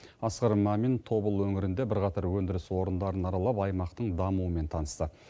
асқар мамин тобыл өңірінде бірқатар өндіріс орындарын аралап аймақтың дамуымен танысты